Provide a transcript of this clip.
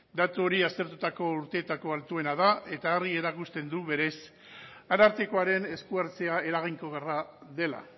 datu hori aztertutako urteetako altuena da eta argi erakusten du berez arartekoaren esku hartzea eraginkorra dela